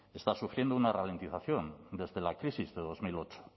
está sufriendo una ralentización desde la crisis de dos mil ocho